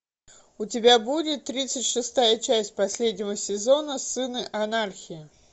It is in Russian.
у тебя будет тридцать шестая часть последнего сезона сыны анархии